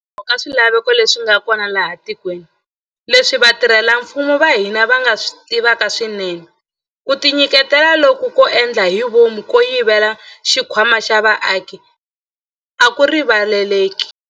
Hikokwalaho ka swilaveko leswi nga kona laha etikweni, leswi vatirhela mfumo va hina va swi tivaka swinene, ku tinyiketela loku ko endla hi vomu ko yivela xikhwama xa vaaki a ku rivaleleki.